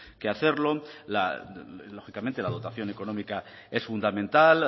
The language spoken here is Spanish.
que hacerlo lógicamente la dotación económica es fundamental